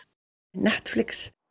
Netflix